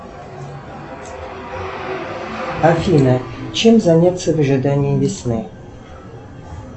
афина чем заняться в ожидании весны